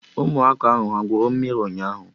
Ụmụaka ahụ ha gwụrụ mmiri ụnyaahụ?